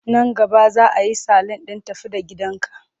Nan gaba za a yi salun ɗin tafi-da-gidanka.